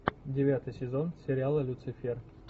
девятый сезон сериала люцифер